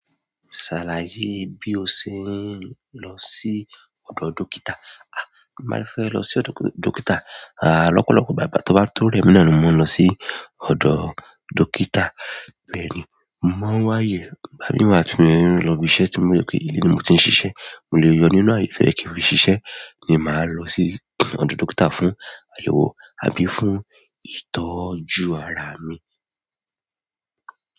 Ṣàlàyé bí o ṣe ń lọ sí ọ̀dọ̀ dókítà. A! Máa fẹ́ lọ sí ọ̀dọ̀ dókítà, à lọ́pọ̀lọpọ̀ igbá tó bá ń to rẹ̀ mí na ni mò ń lọ sí ọ̀dọ̀ dókítà. Bẹ́ẹ̀ ni, mo mọ́n wáyé, gbá ní wàá tún mí lọ ibi iṣẹ́ tí mo mọ̀ pé inú mi mo ti ń ṣiṣẹ́, mo lè yọ inú ààyè tí ẹ kí n fi ṣiṣẹ́ ni màá lọ sí ọ̀dọ̀ dókítà fún àyẹ̀wò àbí fún ìtọ́jú ara mi.